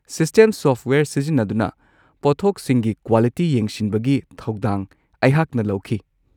System software ꯁꯤꯖꯤꯟꯅꯗꯨꯅ ꯄꯣꯠꯊꯣꯛꯁꯤꯡꯒꯤ quality ꯌꯦꯡꯁꯤꯟꯕꯒꯤ ꯊꯧꯗꯥꯡ ꯑꯩꯍꯥꯛꯅ ꯂꯧꯈꯤ꯫